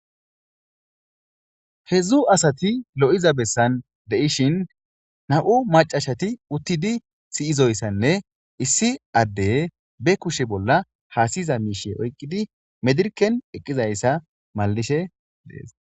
Hedzdzu asati lo, iza besan de,ishin na,mu Mac,a asati utidi siyidayisanne issi adde be kushe bolla hasayiza misha oyikidi medirken eqidayisa malishe dees